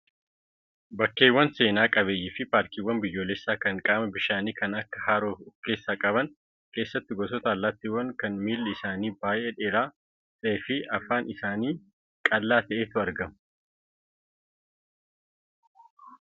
Bakkeewwan seenaa qabeeyyii fi paarkiiwwan biyyoolessaa kan qaama bishaanii kan akka haroo of keessaa qaban keessatti gosoota allaattiiwwanii kan miilli isaanii baay'ee dheeraa ta'ee fi afaan isaanii qal'aa ta'etu argamu.